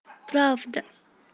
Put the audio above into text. правда